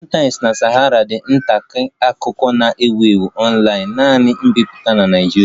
Premium Times na Sahara ndị nta akụkọ na-ewu ewu online-naanị mbipụta na Nigeria